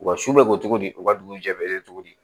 U ka su bɛ ko cogo di u ka dugujɛlen bɛ cogo di